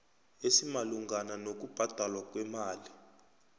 esimalungana nokubhadalwa kwemali